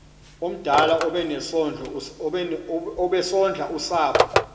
omdala obesondla usapho